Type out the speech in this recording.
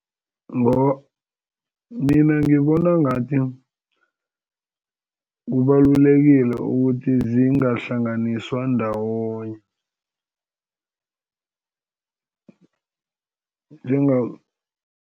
Mina ngibona ngathi kubalulekile ukuthi zingahlanganiswa ndawonye